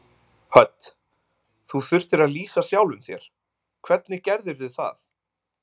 Hödd: Þú þurftir að lýsa sjálfum þér, hvernig gerðirðu það?